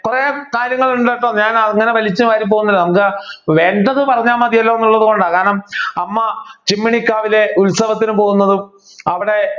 കുറെ കാര്യങ്ങൾ ഉണ്ട് ട്ടോ ഞാൻ അങ്ങനെ വലിച്ചുവാരി പോകുന്നില്ല നമുക്ക് വേണ്ടത് പറഞ്ഞാ മതിയല്ലോ എന്നുള്ളത് കൊണ്ട് കാരണം അമ്മ ചിമ്മിണി കാവിലെ ഉത്സവത്തിന് പോകുന്നതും അവിടെ